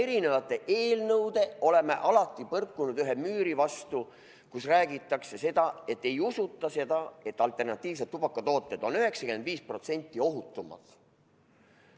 Eri eelnõudega oleme alati põrkunud vastu üht müüri, kus räägitakse seda, et ei usuta, et alternatiivsed tubakatooted on 95% ohutumad.